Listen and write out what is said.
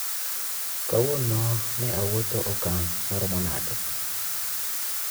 Kawuono ne awuotho okang' MAROMO NADE